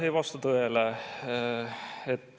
Ei vasta tõele.